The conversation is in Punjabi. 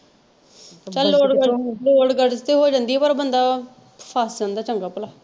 ਤੇ ਹੋ ਜਾਂਦੀ ਆ ਪਰ ਬੰਦਾ ਫੱਸ ਜਾਂਦਾ ਵਾ ਚੰਗਾ ਭਲਾ।